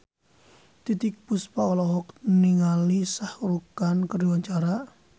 Titiek Puspa olohok ningali Shah Rukh Khan keur diwawancara